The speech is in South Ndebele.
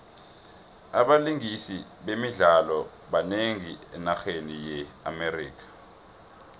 abalingisi bemidlalo banengi enarheni ye amerika